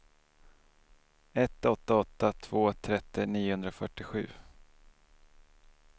ett åtta åtta två trettio niohundrafyrtiosju